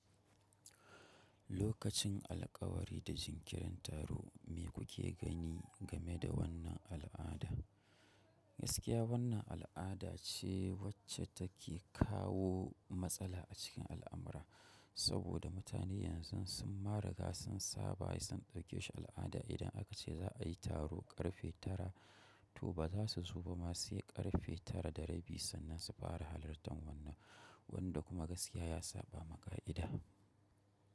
Lokacin alkawari da jinkirin taro me kuke gani game da wannan al'ada? Gaskiya wannan al'ada ce wacce take kawo matsala a cikin al'amura, saboda mutane yanzu sun ma riga sun saba son dauke shi al'ada idan akace za'a yi taro ƙarfe tara, to baza suzo bama sai ƙarfe tara da rabi sannan su fara halartar wannan wanda kuma gaskiya ya saba maka'ida.